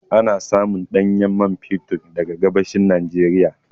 Ana samun ɗanyen man fetur daga gabashin Nijeriya